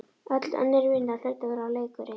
Öll önnur vinna hlaut að vera leikur einn